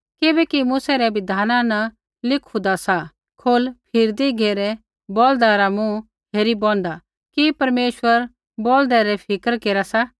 किबैकि मूसै रै बिधाना न लिखु होंदा सा खौल फेरदी घेरै बौल्दा रा मुँह हेरी बौनदा कि परमेश्वर बौल्दे री ही फिक्र केरा सा